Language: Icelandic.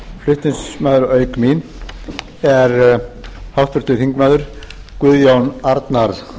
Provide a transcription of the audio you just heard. flutningsmaður auk mín er háttvirtur þingmaður guðjón arnar